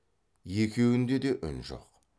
екеуінде де үн жоқ